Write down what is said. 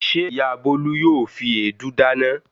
Ṣé ìyá Bólú yóò fi èédú dáná?